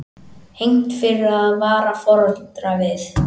Hegnt fyrir að vara foreldra við